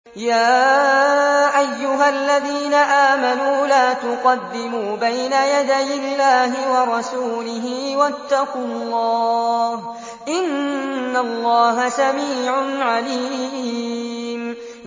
يَا أَيُّهَا الَّذِينَ آمَنُوا لَا تُقَدِّمُوا بَيْنَ يَدَيِ اللَّهِ وَرَسُولِهِ ۖ وَاتَّقُوا اللَّهَ ۚ إِنَّ اللَّهَ سَمِيعٌ عَلِيمٌ